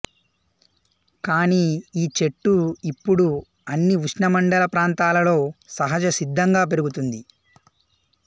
కానీ ఈ చెట్టు ఇప్పుడు అన్ని ఉష్ణమండల ప్రాంతాలలో సహజసిద్ధంగా పెరుగుతుంది